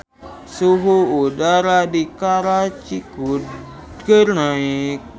Suhu udara di Karachi keur naek